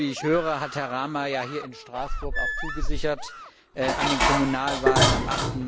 Wie ich höre, hat Herr Rama ja hier in Straßburg auch zugesichert, an den Kommunalwahlen am